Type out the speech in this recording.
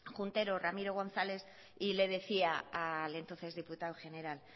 juntero ramiro gonzález y le decía al entonces diputado general